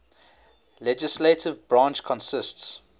legislative branch consists